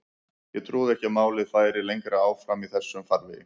Ég trúði ekki að málið færi lengra áfram í þessum farvegi.